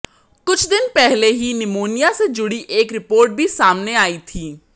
कुछ दिन पहले ही निमोनिया से जुड़ी एक रिपोर्ट भी सामने आई थी